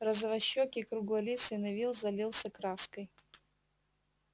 розовощёкий круглолицый невилл залился краской